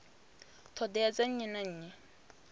ṱhoḓea dza nnyi na nnyi